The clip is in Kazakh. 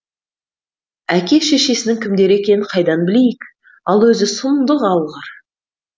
әке шешесінің кімдер екенін қайдан білейік ал өзі сұмдық алғыр